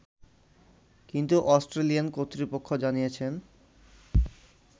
কিন্তু অস্ট্রেলিয়ান কর্তৃপক্ষ জানিয়েছেন